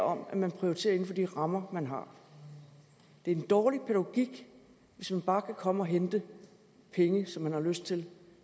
om at man prioriterer inden for de rammer man har det er en dårlig pædagogik hvis man bare kan komme og hente penge som man har lyst til